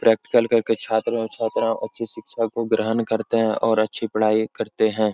Practical करके छात्र और छात्राओं अच्छी शिक्षा को ग्रहण करते हैं और अच्छी पढाई करते हैं।